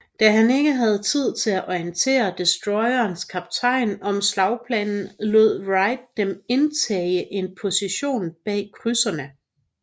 Da han ikke havde tid til at orientere destroyernes kaptajner om slagplanen lod Wright dem indtage en position bag krydserne